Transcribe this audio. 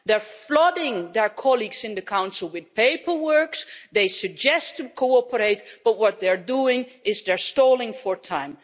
They are flooding their colleagues in the Council with paperwork and they suggest cooperating, but what they're doing is stalling for time.